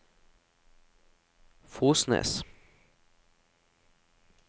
Fosnes